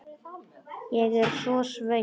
Ég er svo svöng.